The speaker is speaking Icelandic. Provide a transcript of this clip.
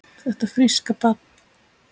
Þetta fríska barn?